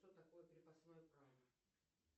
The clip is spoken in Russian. что такое крепостное право